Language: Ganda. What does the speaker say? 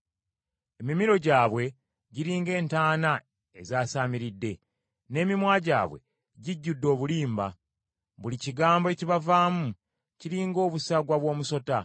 “Emimiro gyabwe giringa entaana ezaasaamiridde, n’emimwa gyabwe gijjudde obulimba.” “Buli kigambo ekibavaamu kiri ng’obusagwa bw’omusota.”